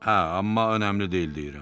Hə, amma önəmli deyil deyirəm.